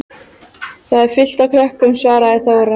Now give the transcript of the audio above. Þar er fullt af krökkum, svaraði Þóra.